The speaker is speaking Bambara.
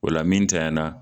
O la min ntanyana